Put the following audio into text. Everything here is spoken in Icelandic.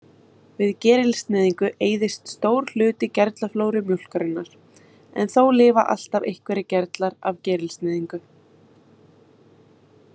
Við gerilsneyðingu eyðist stór hluti gerlaflóru mjólkurinnar, en þó lifa alltaf einhverjir gerlar af gerilsneyðingu.